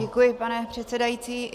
Děkuji, pane předsedající.